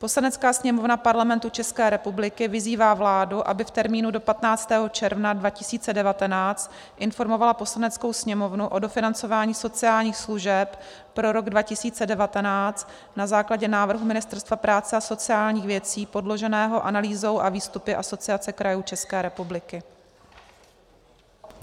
"Poslanecká sněmovna Parlamentu České republiky vyzývá vládu, aby v termínu do 15. června 2019 informovala Poslaneckou sněmovnu o dofinancování sociálních služeb pro rok 2019 na základě návrhu Ministerstva práce a sociálních věcí podloženého analýzou a výstupy Asociace krajů České republiky."